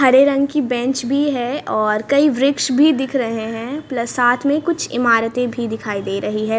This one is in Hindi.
हरे रंग की बेंच भी है और कई वृक्ष भी दिख रहे हैं प्लस साथ में कुछ इमारते भी दिखाई दे रही है।